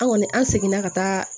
An kɔni an seginna ka taa